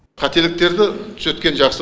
қателіктерді түзеткен жақсы